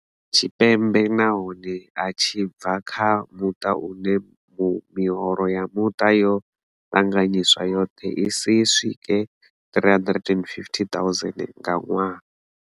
Tshipembe nahone a tshi bva kha muṱa une miholo ya muṱa yo ṱanganyiswa yoṱhe i si swike R350 000 nga ṅwaha.